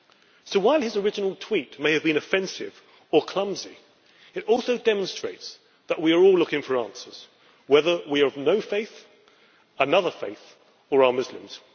So while his original tweet may have been offensive or clumsy, it also demonstrates that we are all looking for answers, whether we have no faith, another faith or are Muslims.